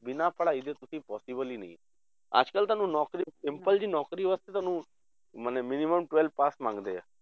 ਬਿਨਾਂ ਪੜ੍ਹਾਈ ਦੇ ਕਿਉਂਕਿ possible ਹੀ ਨਹੀਂ, ਅੱਜ ਕੱਲ੍ਹ ਤੁਹਾਨੂੰ ਨੌਕਰੀ simple ਜਿਹੀ ਨੌਕਰੀ ਵਾਸਤੇ ਤੁਹਾਨੂੰ ਮਨੇ minimum twelve pass ਮੰਗਦੇ ਆ